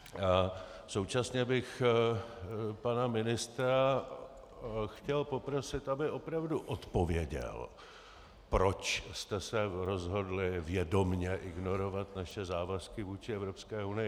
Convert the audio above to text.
Současně bych pana ministra chtěl poprosit, aby opravdu odpověděl, proč jste se rozhodli vědomě ignorovat naše závazky vůči Evropské unii.